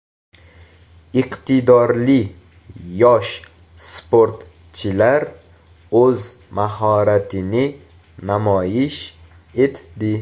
Iqtidorli yosh sportchilar o‘z mahoratini namoyish etdi.